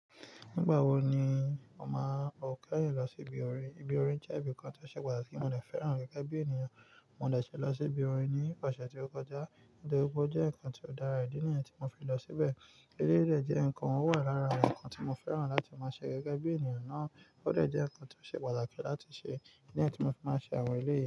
Nígbà wo ni mo máa ò keyin lọ sí ibi orin? Ibi orin jẹ́ ibi kan ti o ṣe pàtàkì, mo de fẹ́ràn gẹ́gẹ́ bí ènìyàn. Mo de ṣẹ lọ sí ibi orin ní ọ̀sẹ̀ tí ó kọjá. Nitoripe o jẹ́ nǹkan ti o dára, ìdí nìyẹn tí mo fi lọ síbẹ̀. Eleyii dè jẹ́ nǹkan, o wà lára awon nǹkan tí mo fẹ́ràn láti máa ṣe gẹ́gẹ́ bí ènìyàn náà. Ó de jẹ́ ǹkan ti ó ṣe pàtàkì láti ṣe, ìdí nìyẹn tí mo fi máa ṣe àwọn eleyii.